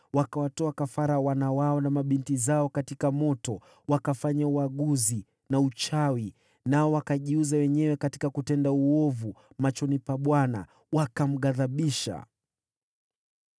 Wakawatoa kafara wana wao na mabinti zao katika moto. Wakafanya uaguzi na uchawi, nao wakajiuza wenyewe katika kutenda uovu machoni pa Bwana , wakamghadhibisha.